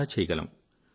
చాలా చేయగలము